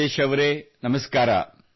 ರಾಜೇಶ್ ಅವರೇ ನಮಸ್ಕಾರ